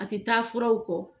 A ti taa furaw kɔ.